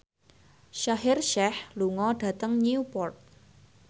Shaheer Sheikh lunga dhateng Newport